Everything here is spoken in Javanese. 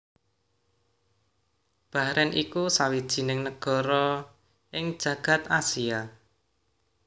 Bahren iku sawijining negara ing jagad Asia